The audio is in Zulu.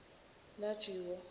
lajiwo